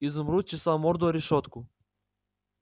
изумруд чесал морду о решётку